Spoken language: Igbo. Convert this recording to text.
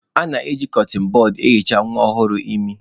A na-eji kọtịn bọd ehicha nwa ọhụrụ imi.